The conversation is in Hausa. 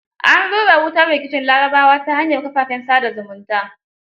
An rura wutar rikicin larabawa ta hanyar kafafen sa da zumunta.